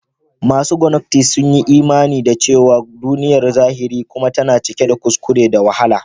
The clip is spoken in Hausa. Masu gnostic suna imani da cewa duniyar zahiri kuma tan cike da kuskure da wahala.